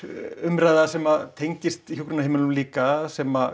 umræða sem tengist hjúkrunarheimilunum líka sem